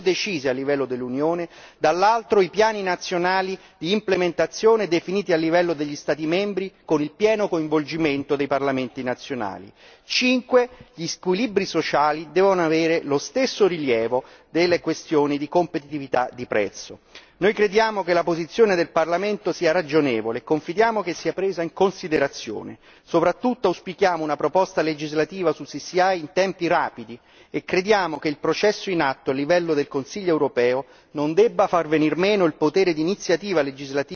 livello dell'Unione, dall'altro, i piani nazionali di implementazione definiti a livello degli Stati membri con il pieno coinvolgimento dei parlamenti nazionali. Quinto gli squilibri sociali devono avere lo stesso rilievo delle questioni di competitività di prezzo. Noi crediamo che la posizione del Parlamento sia ragionevole e confidiamo che sia presa in considerazione e soprattutto auspichiamo una proposta legislativa sul CCI in tempi rapidi e crediamo che il processo in atto a livello del Consiglio europeo non debba far venir meno il potere di iniziativa legislativa della Commissione,